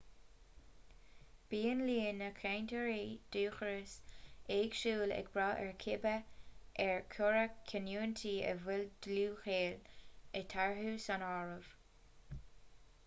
bíonn líon na gcainteoirí dúchais éagsúil ag brath ar cibé ar cuireadh canúintí a bhfuil dlúthghaol eatarthu san áireamh